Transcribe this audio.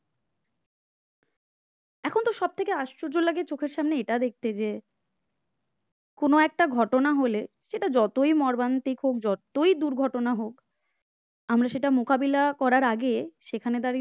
এখন ত সবথেকে আশ্চর্য লাগে চোখের সামনে এটা দেখতে যে কোন একটা ঘটনা হলে সেটা যতই মর্মান্তিক হোক যতই দুর্ঘটনা হোক আমরা সেটা মোকাবিলা করার আগে সেখানে দাঁড়িয়ে দাঁড়িয়ে video তুলি